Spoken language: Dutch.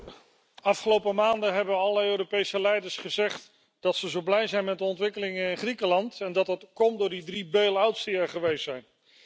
Voorzitter, de afgelopen maanden hebben alle Europese leiders gezegd dat ze zo blij zijn met de ontwikkelingen in Griekenland en dat dat komt door die drie bail outs die er geweest zijn.